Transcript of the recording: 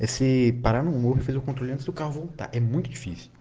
если порву физулинского так и мультфильмы